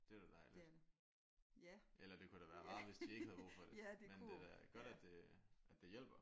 Det er da dejligt. Eller det kunne da være rarere hvis de ikke havde brug for det men det er da godt at det at det hjælper